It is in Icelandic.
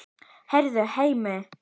Heyrðu, Hemmi!